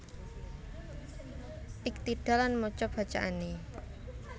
Iktidal lan maca bacaane